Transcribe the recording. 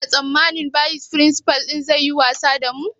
Kuna tsammanin bayis firinsifal ɗin zai yi wasa da mu?